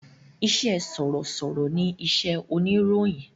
Ìṣe sọ̀rọ̀sọ̀rọ̀ ni iṣẹ́ oníròyìn